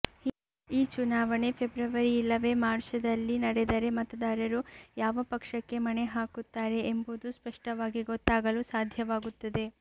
ಈ ಚುನಾವಣೆ ಫೆಬ್ರವರಿ ಇಲ್ಲವೇ ಮಾರ್ಚದಲ್ಲಿ ನಡೆದರೆ ಮತದಾರರು ಯಾವ ಪಕ್ಷಕ್ಕೆ ಮಣೆ ಹಾಕುತ್ತಾರೆ ಎಂಬುದು ಸ್ಪಷ್ಟವಾಗಿ ಗೊತ್ತಾಗಲು ಸಾಧ್ಯವಾಗುತ್ತದೆ